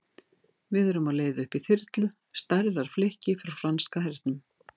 Við erum á leið upp í þyrlu, stærðar flikki frá franska hernum.